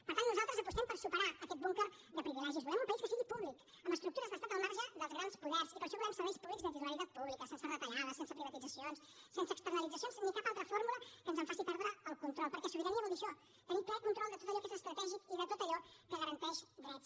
per tant nosaltres apostem per superar aquest búnquer de privilegis volem un país que sigui públic amb estructures d’estat al marge dels grans poders i per això volem serveis públics de titularitat pública sense retallades sense privatitzacions sense externalitzacions ni cap altra fórmula que ens en faci perdre el control perquè sobirania vol dir això tenir ple control de tot allò que és estratègic i de tot allò que garanteix drets